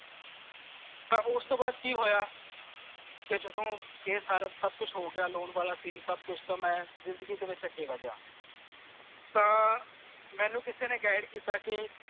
ਤਾਂ ਓਸ ਤੂੰ ਵਾਦ ਕਿ ਹੋਇਆ ਕੇ ਜਦੋਂ ਇਹ ਸਾਰਾ ਸਬ ਕੁਛ ਹੋਗਿਆ loan ਵਾਲਾ seen ਸਬ ਕੁਛ ਤਾਂ ਮੈਂ ਜ਼ਿੰਦਗੀ ਦੇ ਵਿਚ ਅੱਗੇ ਵਿਦਯਾ ਤਾਂ ਮੈਨੂੰ ਕਿਸੇ ਨੇ guide ਕੀਤਾ ਕੇ